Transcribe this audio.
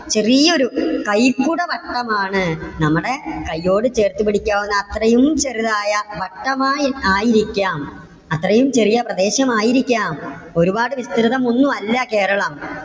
ചെറിയൊരു കൈകുടവട്ടം ആണ്. നമ്മുടെ കയ്യോട് ചേർത്തുപിടിക്കാവുന്ന അത്രയും ചെറുതായ വട്ടം ആണ് ആയിരിക്കാം. അത്രയും ചെറിയ പ്രദേശം ആയിരിക്കാം ഒരുപാട് വിസ്തൃതം ഒന്നും അല്ല കേരളം.